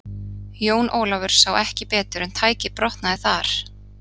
Jón Ólafur sá ekki betur en tækið brotnaði þar.